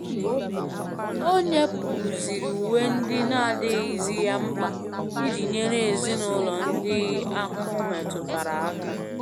O nyepusiri uwe ndị na adịghị zi ya mkpa iji nyere ezinụlọ ndị ahụhụ metụtara aka.